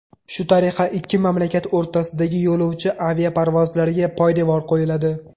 Shu tariqa ikki mamlakat o‘rtasidagi yo‘lovchi aviaparvozlariga poydevor qo‘yiladi.